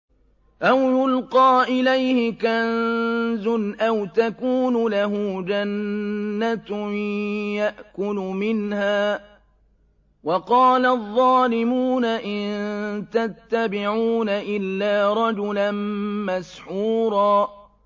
أَوْ يُلْقَىٰ إِلَيْهِ كَنزٌ أَوْ تَكُونُ لَهُ جَنَّةٌ يَأْكُلُ مِنْهَا ۚ وَقَالَ الظَّالِمُونَ إِن تَتَّبِعُونَ إِلَّا رَجُلًا مَّسْحُورًا